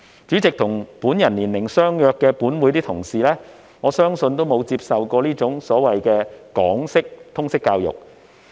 主席，我相信本會內與我年齡相若的同事，均沒有接受這種港式通識教育。